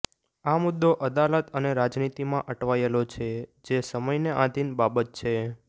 આ મુદ્દો અદાલત અને રાજનીતિમાં અટવાયેલો છે જે સમયને આધિન બાબત છે